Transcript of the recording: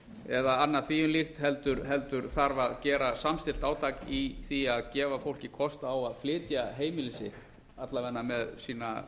eða annað því um líkt heldur þarf að gera samstillt átak í því að gefa fólki kost á að flytja heimili sitt alla vega með sína